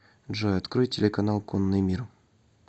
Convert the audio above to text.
джой открой телеканал конный мир